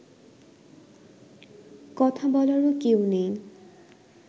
কথা বলারও কেউ নেই